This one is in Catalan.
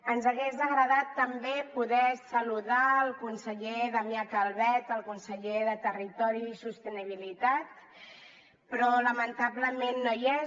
ens hagués agradat també poder saludar el conseller damià calvet el conseller de territori i sostenibilitat però lamentablement no hi és